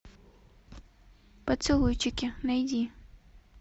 поцелуйчики найди